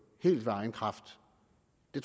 det